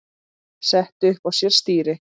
setti upp á sér stýri